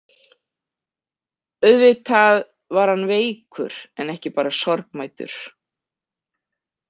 Auðvitað var hann veikur en ekki bara sorgmæddur.